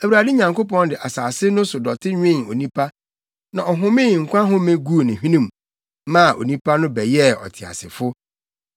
Awurade Nyankopɔn de asase no so dɔte nwen onipa, na ɔhomee nkwa home guu ne hwenem, maa onipa no bɛyɛɛ ɔteasefo.